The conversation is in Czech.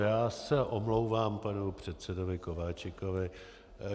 Já se omlouvám panu předsedovi Kováčikovi.